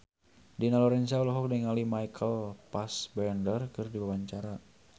Dina Lorenza olohok ningali Michael Fassbender keur diwawancara